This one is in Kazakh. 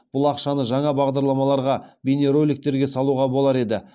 бұл ақшаны жаңа бағдарламаларға бейнероликтерге салуға болар еді